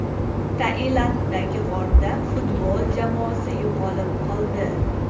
Tailanddagi g‘orda futbol jamoasi yo‘qolib qoldi.